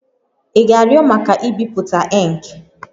Ị ga-arịọ maka ibipụta ink?